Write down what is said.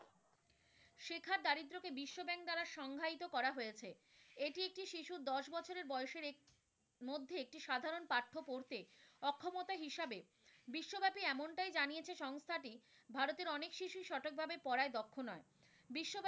বাস্তবায়িত করা হয়েছে, এটি একটি শিশুর দশ বছরের বয়সের মধ্যে একটি সাধারণ পাঠ্য পড়তে অক্ষমতা হিসাবে বিশ্ব ব্যাপী এমনটাই জানিয়েছে সংস্থাটি ভারতের অনেক শিশুই সঠিকভাবে পড়ায় দক্ষ নয়। বিশ্ব ব্যাপী,